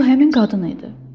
Bu həmin qadın idi.